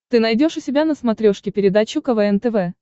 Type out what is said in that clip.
ты найдешь у себя на смотрешке передачу квн тв